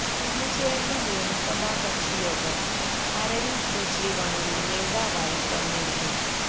ഇന്ന് ചേര്ന്ന നിയമസഭാ കക്ഷി യോഗം അരവിന്ദ് കെജ്രിവാളിനെ നേതാവായി തെരഞ്ഞെടുത്തു